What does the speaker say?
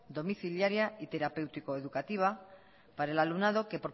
domiciliaria y terapéutico educativa para el alumnado que